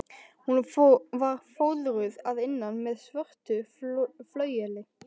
Hún var fóðruð að innan með svörtu flaueli.